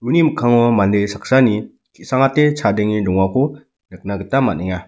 mikkango mande saksani ki·sangate chadenge dongako nikna gita man·enga.